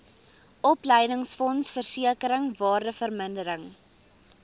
opleidingsfonds versekering waardevermindering